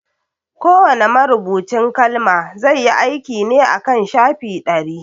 Kowa ne marubucin kalma zai yi aiki ne akan shafi ɗari